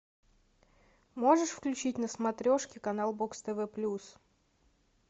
можешь включить на смотрешке канал бокс тв плюс